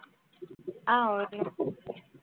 ஆஹ் okay